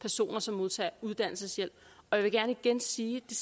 personer som modtager uddannelseshjælp jeg vil gerne igen sige at det